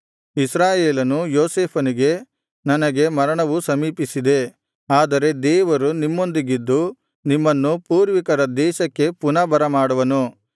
ಇಸ್ರಾಯೇಲನು ಯೋಸೇಫನಿಗೆ ನನಗೆ ಮರಣವು ಸಮೀಪಿಸಿದೆ ಆದರೆ ದೇವರು ನಿಮ್ಮೊಂದಿಗಿದ್ದು ನಿಮ್ಮನ್ನು ಪೂರ್ವಿಕರ ದೇಶಕ್ಕೆ ಪುನಃ ಬರಮಾಡುವನು